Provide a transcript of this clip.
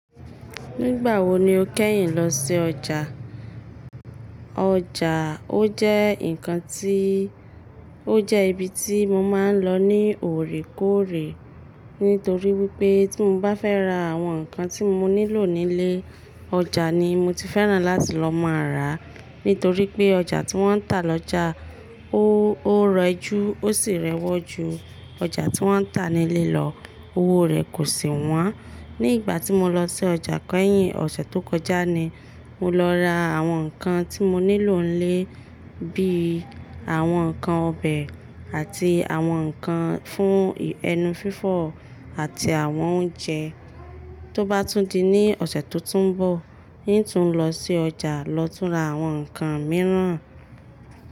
Nígbà wo ni o kẹ́yìn lọ sí ọjà? Ọjà, o jẹ́ ǹkan tí, o jẹ́ ibi tí mo máa ń lọ ní òrékóòrè. Nítorí wípé tí mo bá fẹ́ ra àwọn ǹkan tí mo nílò nílé, ọjà ni mo ti fẹ́ràn láti lọ máa rà á. Nítorí pé ọjà tí wọ́n ń tà lọ́jà, ó, ó rẹjú, ó sì rẹwọ́ ju ọjà tí wọ́n ń tà nílé lọ. Owó rẹ̀ kò sì wọ́n. Ní ìgbà tí mo lọ sí ọjà kẹ́yìn ọ̀sẹ̀ tó kọjá ni mo lọ ra àwọn ǹkan tí mo nílò nílé bíi àwọn ǹkan ọbẹ̀ àti àwọn ǹkan fún ẹnu fífọ̀ àti àwọn oúnjẹ. Tó bá tún di ní ọ̀sẹ̀ tó tún ń bọ̀, ń tún lọ sí ọjà lọ tún ra àwọn ǹkan mìíràn.